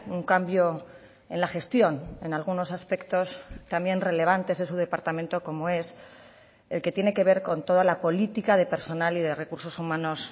un cambio en la gestión en algunos aspectos también relevantes de su departamento como es el que tiene que ver con toda la política de personal y de recursos humanos